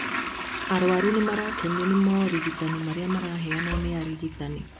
Arwaru nĩmarakenio nĩ morigitani marĩa maraheo nĩ arigitani